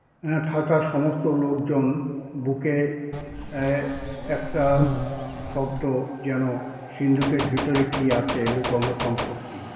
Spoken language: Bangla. এএ থাকা সমস্ত লোকজন বুকে এএ একটা শব্দ যেন সিন্ধুকের ভিতরে কি আছে লুকোনো সম্পত্তি।